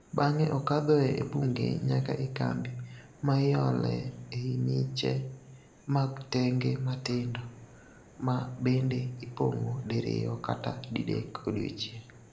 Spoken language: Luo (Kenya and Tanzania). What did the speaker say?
Bang'e okadhoe e bunge nyaka e kambi, ma iolee ei miche mag tenge matindo ma bende ipong'o diriyo kata didek odiochieng'.